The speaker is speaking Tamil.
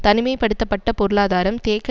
தனிமைபடுத்தப்பட்ட பொருளாதாரம் தேக்க